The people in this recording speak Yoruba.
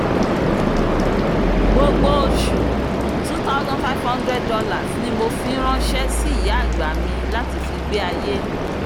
gbogbo oṣù $2500 ni mo ń fi ránṣé sí ìyá àgbà mi láti fi gbé ayé